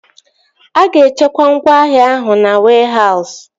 A ga-echekwa ngwaahịa ahụ na wehause